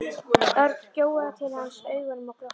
Örn gjóaði til hans augunum og glotti.